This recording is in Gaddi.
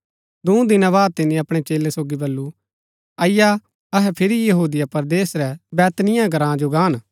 दूँ दिना बाद तिनी अपणै चेलै सोगी बल्लू अईआ अहै फिरी यहूदिया परदेस रै बैतनिय्याह ग्राँ जो गान